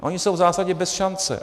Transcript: Oni jsou v zásadě bez šance.